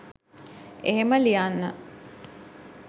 එහෙම ලියන්න